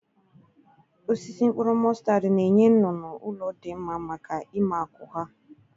Osisi mkpụrụ mọstad na-enye nnụnụ ụlọ dị mma maka ime akwụ ha.